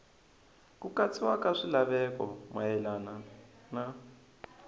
ku katsiwa ka swilaveko mayelana